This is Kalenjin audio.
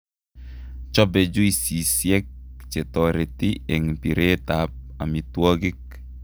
Chobe juicisiek chetoreti eng' pireet ab omitwogik